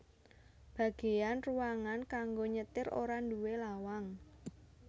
Bagéyan ruangan kanggo nyetir ora nduwé lawang